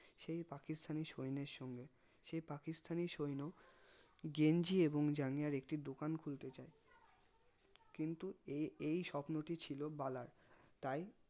সেই পাকিস্তানী সৈন্যের সঙ্গে সেই পাকিস্তানী সৈন্য গেঞ্জি এবং জাঙ্গিয়ার একটি দোকান খুলতে চাই কিন্তু এ এই স্বপ্নটি ছিল বালার তাই